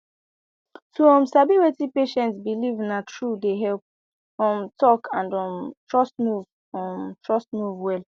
to um sabi wetin patient believena truee dey help um talk and um trust move um trust move well